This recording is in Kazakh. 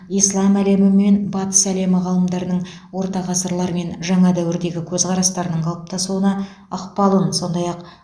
ислам әлемі мен батыс елдері ғалымдарының орта ғасырлар мен жаңа дәуірдегі көзқарастарының қалыптасуына ықпалын сондай ақ